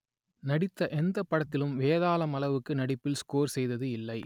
நடித்த எந்தப் படத்திலும் வேதாளம் அளவுக்கு நடிப்பில் ஸ்கோர் செய்தது இல்லை